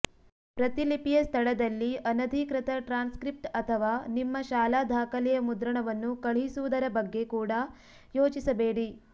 ಪ್ರತಿಲಿಪಿಯ ಸ್ಥಳದಲ್ಲಿ ಅನಧಿಕೃತ ಟ್ರಾನ್ಸ್ಕ್ರಿಪ್ಟ್ ಅಥವಾ ನಿಮ್ಮ ಶಾಲಾ ದಾಖಲೆಯ ಮುದ್ರಣವನ್ನು ಕಳುಹಿಸುವುದರ ಬಗ್ಗೆ ಕೂಡ ಯೋಚಿಸಬೇಡಿ